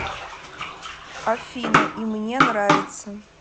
афина и мне нравится